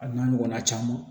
A n'a ɲɔgɔnna caman